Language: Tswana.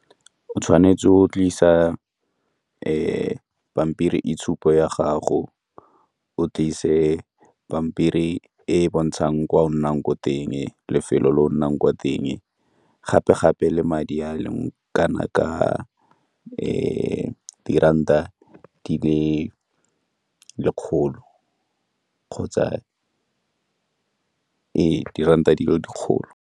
O tshwanetse o tlisa pampiri itshupo ya gago, o tlise pampiri e e bontshang kwa o nnang ko teng, lefelo le o nnang kwa teng, gape-gape le madi a le kana ka diranta di le lekgolo kgotsa ee diranta di le dikgolo.